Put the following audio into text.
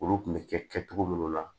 Olu kun bɛ kɛ kɛcogo minnu na